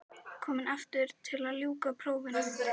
Komin aftur til að ljúka prófunum.